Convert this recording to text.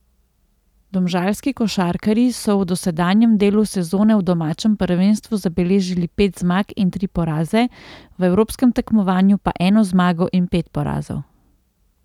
Domžalski košarkarji so v dosedanjem delu sezone v domačem prvenstvu zabeležili pet zmag in tri poraze, v evropskem tekmovanju pa eno zmago in pet porazov.